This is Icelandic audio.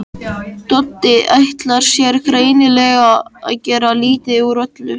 Doddi ætlar sér greinilega að gera lítið úr öllu.